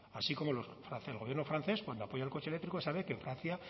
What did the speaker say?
así como el gobierno francés cuando apoya el coche eléctrico sabe que en francia